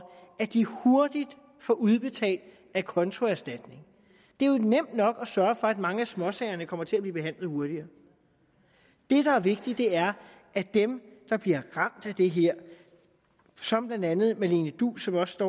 at de hurtigt får udbetalt acontoerstatning det er jo nemt nok at sørge for at mange af småsagerne kommer til at blive behandlet hurtigere det der er vigtigt er at dem der bliver ramt af det her som blandt andet marlene duus som også